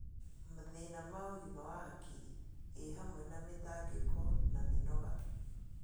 Mathĩna ma ũgima wa hakiri, i hamwe na mĩtangĩko na mĩnoga.